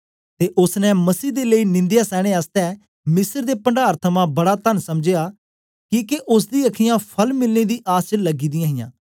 ते ओसने मसीह दे लेई निंदया सैने आसतै मिस्र दे पणडार थमां बड़ा तन समझया किके ओसदी अखीयाँ फल मिलने दी आस च लगी दी हियां